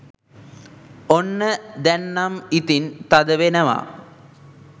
ඔන්න දැන්නම් ඉතිං තද වෙනවා